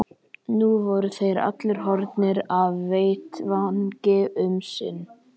Senn allslaus og einn héðan fer, útlenskan síg oní reit.